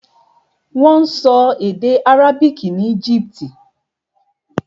Wọ́n sọ èdè àrábìkì ní Egypt.